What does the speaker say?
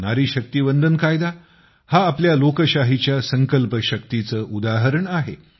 नारी शक्ती वंदन कायदा हा आपल्या लोकशाहीच्या संकल्प शक्तीचे उदाहरण आहे